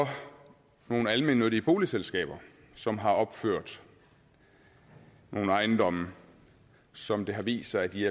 nogle almennyttige boligselskaber som har opført nogle ejendomme som det har vist sig de